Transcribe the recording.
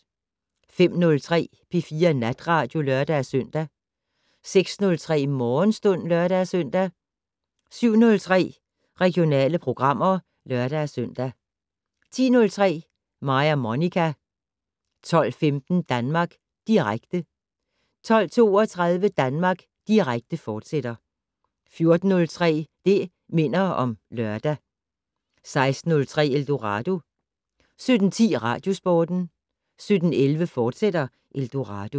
05:03: P4 Natradio (lør-søn) 06:03: Morgenstund (lør-søn) 07:03: Regionale programmer (lør-søn) 10:03: Mig og Monica 12:15: Danmark Direkte 12:32: Danmark Direkte, fortsat 14:03: Det' Minder om Lørdag 16:03: Eldorado 17:10: Radiosporten 17:11: Eldorado, fortsat